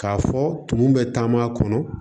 K'a fɔ tumu bɛ taama kɔnɔ